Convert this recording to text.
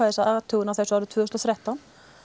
þessa athugun á þessu árið tvö þúsund og þrettán